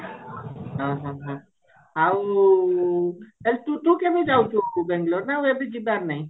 ଓ ହୋ ହୋ ହୋ ଆଉ ତୁ କେବେ ଯାଉଛୁ ବେଙ୍ଗେଲୋର ନା ଆଉ ଏବେ ଯିବାର ନାଇଁ